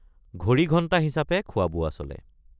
ঘড়ীঘণ্টা হিচাপে খোৱাবোৱা চলে।